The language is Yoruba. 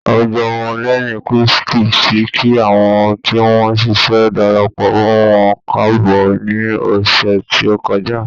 Àwùjọ ọmọ lẹ́yìn Krístì ti kí àwọn tí wọn ṣẹ̀ṣẹ̀ darapọ̀ mọ́ wọn káàbọ̀ ní ọ̀sẹ̀ tí ó kọjá.